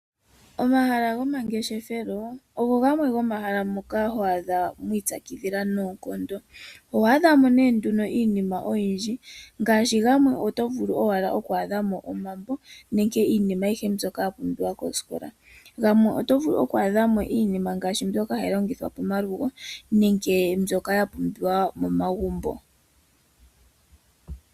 Omahala gomangeshefelo, ogo gamwe gomomahala gomaipyakidhilo. Oho adhako iilongomwa nenge iilandithomwa yomaludhi ngaashi iilongithomwa yokomanongelo, iilongithomwa yomagumbo.